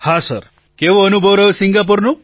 પ્રધાનમંત્રી કેવો અનુભવ રહ્યો સિંગાપોરનો